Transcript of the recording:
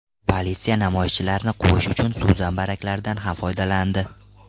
Politsiya namoyishchilarni quvish uchun suv zambaraklaridan ham foydalandi.